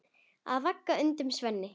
Ég vagga ungum sveini.